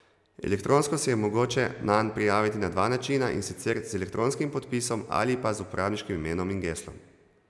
Elektronsko se je mogoče nanj prijaviti na dva načina, in sicer z elektronskim podpisom ali pa z uporabniškim imenom in geslom.